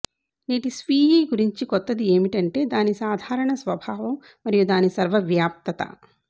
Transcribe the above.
నేటి స్వీయీ గురించి కొత్తది ఏమిటంటే దాని సాధారణ స్వభావం మరియు దాని సర్వవ్యాప్తత